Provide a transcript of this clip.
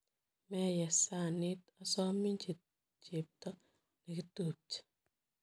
Meyes sanit, asomin chepto nekitupche.